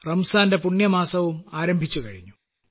റംസാന്റെ പുണ്യമാസവും ആരംഭിച്ചുകഴിഞ്ഞു